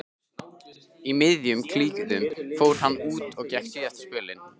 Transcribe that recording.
Í miðjum klíðum fór hann út og gekk síðasta spölinn.